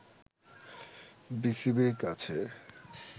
বিসিবি-র কাছে